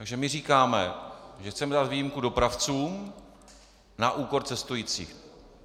Takže my říkáme, že chceme dát výjimku dopravcům na úkor cestujících.